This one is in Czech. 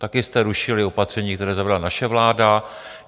Také jste rušili opatření, které zavedla naše vláda.